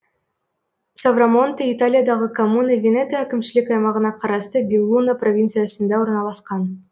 соврамонте италиядағы коммуна венето әкімшілік аймағына қарасты беллуно провинциясында орналасқан